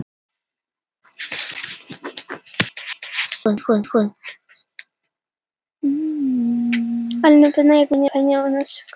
Sennilega vegna þess að fólk þekkti hann frá því hann var barn.